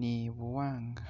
ni buwaanga.